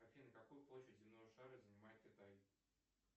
афина какую площадь земного шара занимает китай